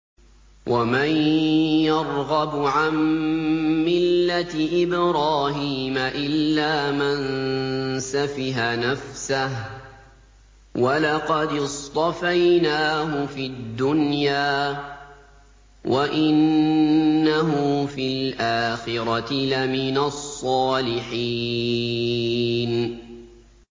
وَمَن يَرْغَبُ عَن مِّلَّةِ إِبْرَاهِيمَ إِلَّا مَن سَفِهَ نَفْسَهُ ۚ وَلَقَدِ اصْطَفَيْنَاهُ فِي الدُّنْيَا ۖ وَإِنَّهُ فِي الْآخِرَةِ لَمِنَ الصَّالِحِينَ